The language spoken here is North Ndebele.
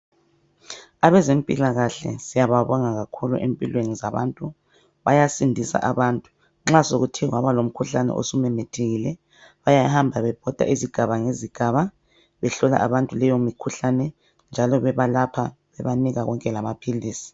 Abezempilakahle siyababonga kakhulu empilweni zabantu, bayasindisa abantu nxa sokuthe kwaba lomkhuhlane osumemethekile. Bayahamba bebhoda ngezigaba ngezigaba behlola abantu leyo mkhuhlane njalo bebalapha bebanika konke lamaphilisi.